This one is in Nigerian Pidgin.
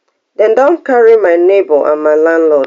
dem don carry my neighbour and my landlord